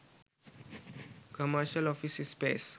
commercial office space